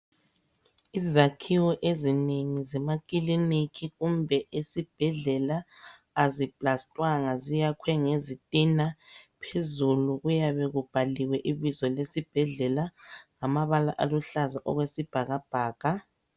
Izakhiwo ezinengi zemakiliniki kumbe esibhedlela aziplastwanga ziyakhiwe ngezitina phezulu kuyabe kubhaliwe ibizo lesibhedlela ngamabala aluhlaza okwesibhakabhaka.